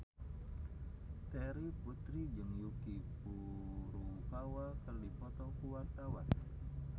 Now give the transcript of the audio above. Terry Putri jeung Yuki Furukawa keur dipoto ku wartawan